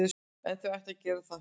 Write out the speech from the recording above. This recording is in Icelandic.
En þau ættu að gera það.